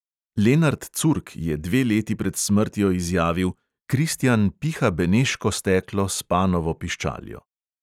Lenart curk je dve leti pred smrtjo izjavil: "kristjan piha beneško steklo s panovo piščaljo."